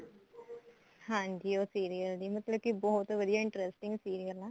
ਹਾਂਜੀ ਉਹ serial ਦੀ ਮਤਲਬ ਕਿ ਬਹੁਤ ਵਧੀਆ interesting serial ਆ